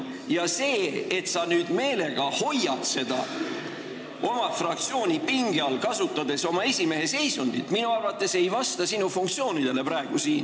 Ja see, et sa praegu meelega hoiad oma fraktsiooni pinge all, kasutades oma esimehe seisundit, ei vasta minu arvates sinu funktsioonidele.